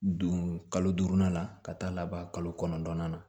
Don kalo duurunan na ka taa laban kalo kɔnɔntɔnnan na